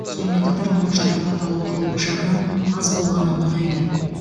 сонымен қатар оның жарақат алу қаупі жағынан аз болғаны ұнайды